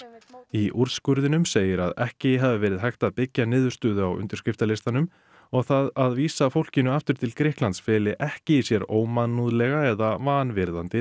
í úrskurðinum segir að ekki hafi verið hægt að byggja niðurstöðu á undirskriftalistanum og það að vísa fólkinu aftur til Grikklands feli ekki í sér ómannúðlega eða vanvirðandi